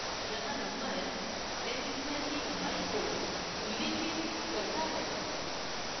यहाँ number 10 square की लंबाई को उल्लिखित करता है